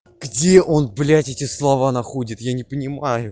где он блять эти слова находит я не понимаю